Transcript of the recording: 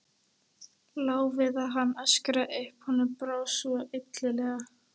Lá við að hann öskraði upp, honum brá svo illilega.